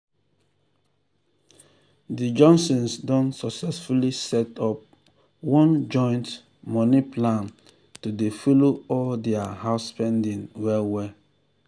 de johnsons don successfully set up one joint money plan to dey follow all dia house spending well well. well.